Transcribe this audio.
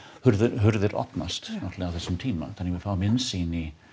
hurðir opnast á þessum tíma þannig að við fáum innsýn í